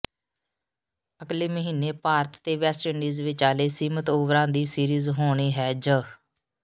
ਅਗਲੇ ਮਹੀਨੇ ਭਾਰਤ ਤੇ ਵੈਸਟਇੰਡੀਜ਼ ਵਿਚਾਲੇ ਸੀਮਿਤ ਓਵਰਾਂ ਦੀ ਸੀਰੀਜ਼ ਹੋਣੀ ਹੈ ਜ